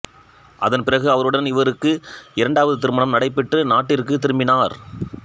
அதன்பிறகு அவருடன் இவருக்கு இரண்டாவது திருமணம் நடைபெற்று நாட்டிற்குத் திரும்பினார்